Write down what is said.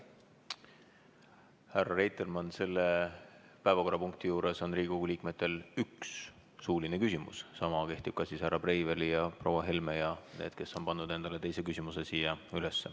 Härra Reitelmann, selle päevakorrapunkti juures on Riigikogu liikmetel üks suuline küsimus, sama kehtib ka härra Breiveli, proua Helme ja nende kohta, kes on pannud endale teise küsimuse siia üles.